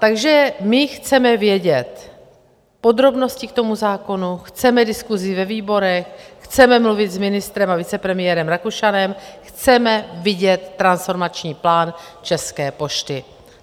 Takže my chceme vědět podrobnosti k tomu zákonu, chceme diskusi ve výborech, chceme mluvit s ministrem a vicepremiérem Rakušanem, chceme vidět transformační plán České pošty.